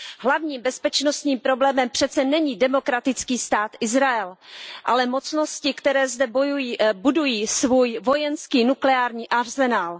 Hlavním bezpečnostním problémem přece není demokratický Stát Izrael, ale mocnosti, které zde budují svůj vojenský nukleární arzenál.